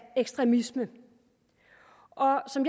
ekstremisme og som